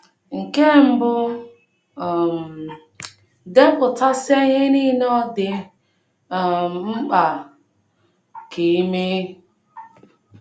Nke mbụ um, depụtasịa ihe nile ọ dị um mkpa um ka i mee.